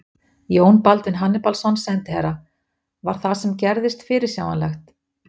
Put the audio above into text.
Jón Baldvin Hannibalsson, sendiherra: Var það sem gerðist fyrirsjáanlegt?